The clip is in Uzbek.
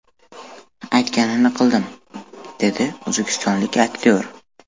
Aytganini qildim”, dedi o‘zbekistonlik aktyor.